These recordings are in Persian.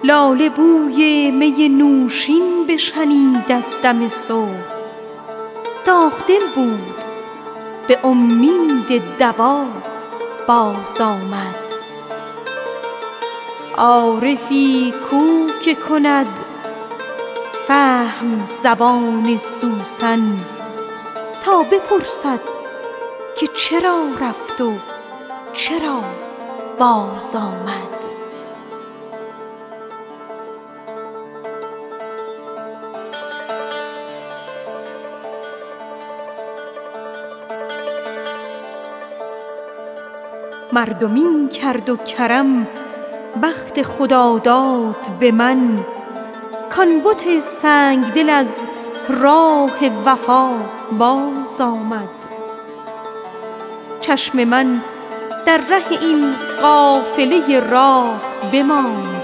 باد هوا بازآمد عارفی کو که کند فهم زبان سوسن تا بپرسد که چرا رفت و چرا بازآمد مردمی کرد و کرم لطف خداداد به من کـ آن بت ماه رخ از راه وفا بازآمد لاله بوی می نوشین بشنید از دم صبح داغ دل بود به امید دوا بازآمد چشم من در ره این قافله راه بماند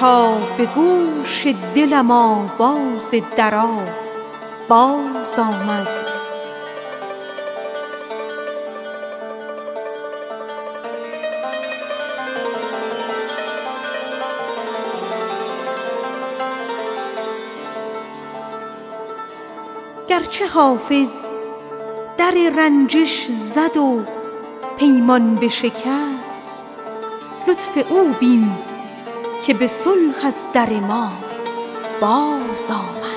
تا به گوش دلم آواز درا بازآمد گرچه حافظ در رنجش زد و پیمان بشکست لطف او بین که به لطف از در ما بازآمد